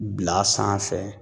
Bil'a sanfɛ